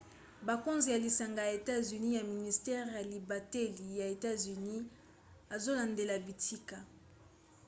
bakonzi ya lisanga ya etats-unis ya ministere ya libateli ya etats-unis azolandela bitika